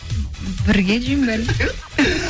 бірге жеймін бәрін